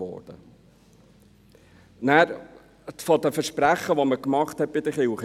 Zu den Versprechen, die wir den Kirchen gegeben haben: